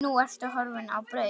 Nú ertu horfin á braut.